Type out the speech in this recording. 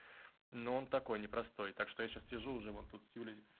но он такой непростой так что я сейчас сижу уже вот тут с юлей